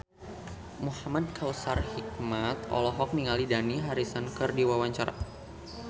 Muhamad Kautsar Hikmat olohok ningali Dani Harrison keur diwawancara